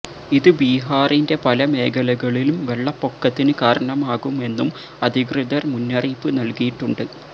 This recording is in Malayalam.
ഇത് ബിഹാറിന്റെ പല മേഖലകളിലും വെള്ളപ്പൊക്കത്തിന് കാരണമാകുമെന്നും അധികൃതര് മുന്നറിയിപ്പ് നല്കിയിട്ടുണ്ട്